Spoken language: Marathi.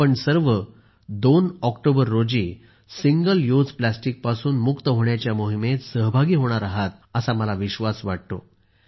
आपण सर्व 2 ऑक्टोबर रोजी सिंगल युज प्लास्टिक पासून मुक्त होण्याच्या मोहिमेत सहभागी होणार आहात असा मला विश्वास वाटतो